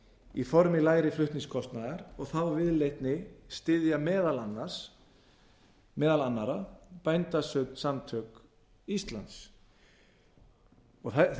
í formi lægri flutningskostnaðar og þá viðleitni styðja meðal annarra bændasamtök íslands vegna þess að